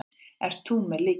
Ert þú með lykilinn?